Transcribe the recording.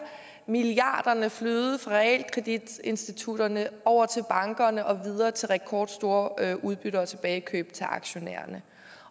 milliarderne flyde fra realkreditinstitutterne over til bankerne og videre til rekordstore udbytter og tilbagekøb til aktionærerne